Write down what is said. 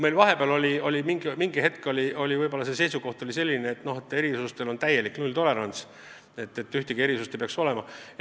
Vahepeal oli meil seisukoht selline, et erisustele on täielikult nulltolerants – ühtegi erisust ei tohi olla.